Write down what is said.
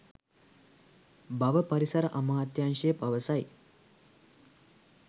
බව පරිසර අමාත්‍යාංශය පවසයි